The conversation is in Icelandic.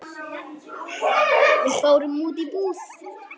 Við fórum út í búð.